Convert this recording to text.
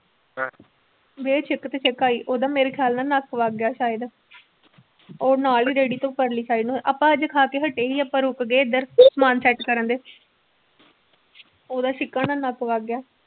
ਦੇ ਛਿੱਕ ਤੇ ਛਿੱਕ ਆਈ ਉਹਦਾ ਮੇਰੇ ਖਿਆਲ ਨਾਲ ਨੱਕ ਵਗ ਗਿਆ ਸ਼ਾਇਦ ਉਹ ਨਾਲ ਹੀ ਰੇੜੀ ਤੋਂ ਪਰਲੀ side ਹੋਇ ਆਪਾਂ ਹਜੇ ਖਾ ਕੇ ਹਟੇ ਸੀ ਆਪਾਂ ਰੁੱਕ ਗਏ ਇੱਧਰ ਸਮਾਨ set ਕਰਨ ਦੇ ਉਹਦਾ ਛਿੱਕਾਂ ਨਾਲ ਨੱਕ ਵਗ ਗਿਆ।